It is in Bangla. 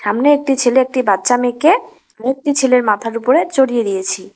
সামনে একটি ছেলে একটি বাচ্চা মেয়েকে মুক্তি ছেলের মাথার উপরে চড়িয়ে দিয়েছি।